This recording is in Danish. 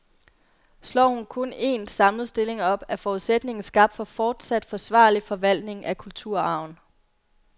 Slår hun kun en, samlet stilling op, er forudsætningen skabt for fortsat forsvarlig forvaltning af kulturarven.